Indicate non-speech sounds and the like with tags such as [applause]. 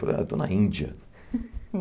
Falou ah, eu estou na Índia. [laughs]